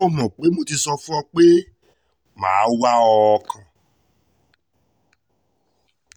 ó mọ̀ pé mo ti sọ fún ọ pé mà á wá ọ kàn